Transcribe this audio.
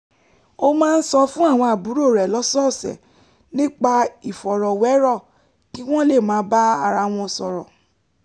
ó máa ń sọ fún àwọn àbúrò rẹ̀ lọ́sọ̀ọ̀sẹ̀ nípa ìfọ̀rọ̀wérọ̀ kí wọ́n lè máa bára wọn sọ̀rọ̀